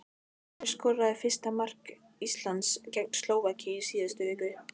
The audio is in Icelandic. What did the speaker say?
Kirkjan verður að láta krúnunni eftir auðæfi sín.